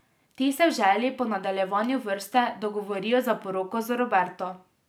Ti se v želji po nadaljevanju vrste dogovorijo za poroko z Roberto.